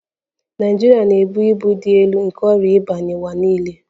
Naịjirịa na-ebu ibu dị elu nke ọrịa ịba n'ụwa niile